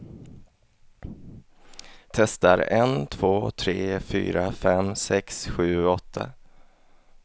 Testar en två tre fyra fem sex sju åtta.